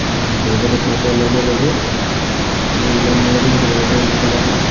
উম্, পৰীক্ষাটো শেষ হোৱাৰ লগেলগে আমি ওলাম মই এদিন তোমালোকৰ room ৰ ফালে আহিম